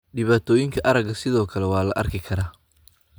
Dhibaatooyinka aragga sidoo kale waa la arki karaa.